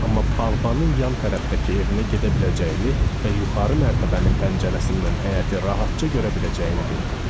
Amma bağbanın yan tərəfdəki evinə gedə biləcəyini və yuxarı mərtəbənin pəncərəsindən həyəti rahatca görə biləcəyini bildirdi.